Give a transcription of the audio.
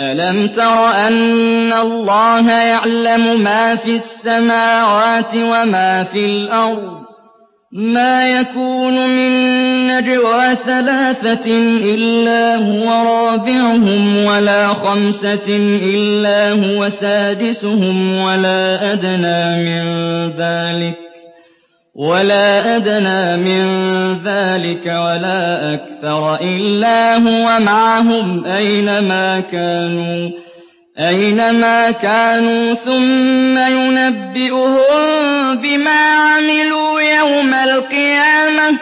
أَلَمْ تَرَ أَنَّ اللَّهَ يَعْلَمُ مَا فِي السَّمَاوَاتِ وَمَا فِي الْأَرْضِ ۖ مَا يَكُونُ مِن نَّجْوَىٰ ثَلَاثَةٍ إِلَّا هُوَ رَابِعُهُمْ وَلَا خَمْسَةٍ إِلَّا هُوَ سَادِسُهُمْ وَلَا أَدْنَىٰ مِن ذَٰلِكَ وَلَا أَكْثَرَ إِلَّا هُوَ مَعَهُمْ أَيْنَ مَا كَانُوا ۖ ثُمَّ يُنَبِّئُهُم بِمَا عَمِلُوا يَوْمَ الْقِيَامَةِ ۚ